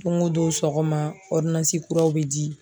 Don o don sɔgɔma kuraw be di.